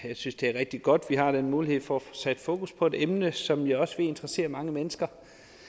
jeg synes det er rigtig godt at vi har den mulighed for at få sat fokus på et emne som jeg også ved interesserer mange mennesker